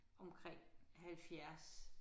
Omkring 70